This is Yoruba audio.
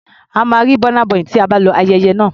A máa rí Burna Boy tí a bá lọ ayẹyẹ náà.